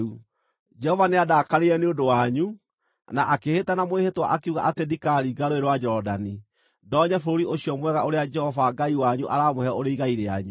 Jehova nĩandakarĩire nĩ ũndũ wanyu, na akĩĩhĩta na mwĩhĩtwa akiuga atĩ ndikaringa Rũũĩ rwa Jorodani, ndonye bũrũri ũcio mwega ũrĩa Jehova Ngai wanyu aramũhe ũrĩ igai rĩanyu.